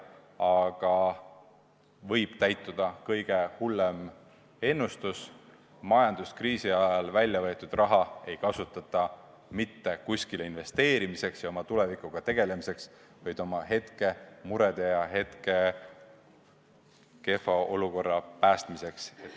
Aga võib täituda kõige hullem ennustus: majanduskriisi ajal välja võetud raha ei kasutata mitte kuskile investeerimiseks ja oma tuleviku kindlustamiseks, vaid oma hetkemurede leevendamiseks, hetke kehva olukorra päästmiseks.